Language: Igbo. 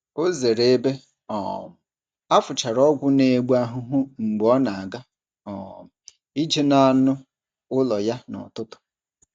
Ọ zere ebe um a fụchara ọgwụ na-egbu ahụhụ mgbe ọ na-aga um ije na anụ ụlọ ya n’ụtụtụ.